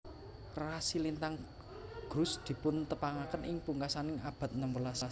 Rasi lintang Grus dipuntepangaken ing pungkasaning abad enem welas